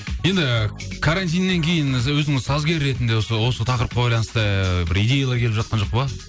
енді карантиннен кейін өзіңіз сазгер ретінде осы тақырыпқа байланысты бір идеялар келіп жатқан жоқ па